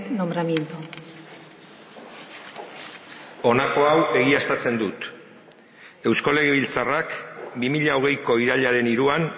nombramiento honako hau egiaztatzen dut eusko legebiltzarrak bi mila hogeiko irailaren hiruan